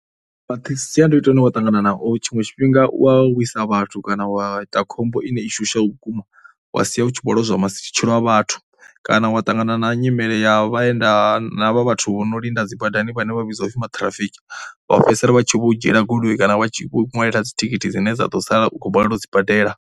Masiandoitwa ane wa ṱangana nao tshiṅwe tshifhinga u wa wisa vhathu kana wa ita khombo ine i shushaho vhukuma wa sia u tshi vho lozwa matshilo a vhathu kana wa ṱangana na nyimele ya vhaenda vha vhathu vho no linda dzi badani vhane vha vhidzwa upfhi maṱhirafiki vha fhedzisela vha tshi vho dzhiela goloi kana vha tshi vho u ṅwalela dzithikhithi dzine dza ḓo sala u khou vho balelwa u dzi badela.